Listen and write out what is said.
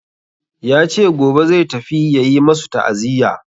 Ya ce gobe zai tafi ya yi masu ta'aziya.